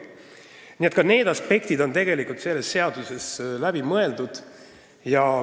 Nii et ka need aspektid on selles seaduses läbi mõeldud.